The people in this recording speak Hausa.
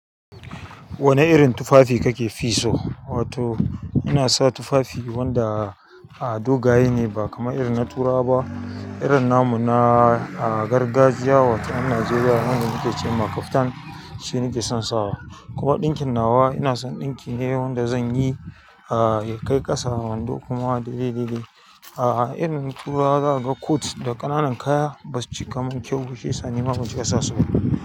Wane irin tufafi kake fi so? Wato ina sa tufafi wanda a dogaye ne ba kamar irin na turawa ba. Irin namu na ah gargajiya, wato yan Najeriya wanda muke ce ma kaftan shi nike son sawa. Kuma ɗinkin nawa ina son ɗinki ne wanda zan yi ya kai ƙasa wando kuma daidai dai. A'a irin turawa zaka ga kot da ƙananan kaya basu cika mun kyau ba shiyasa nima ban cika sa su ba.